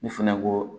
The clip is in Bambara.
Ne fɛnɛ ko